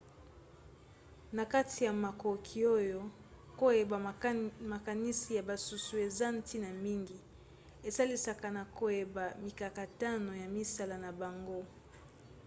na kati ya makoki oyo koyeba makanisi ya basusu eza ntina mingi. esalisaka na koyeba mikakatano ya misala na bango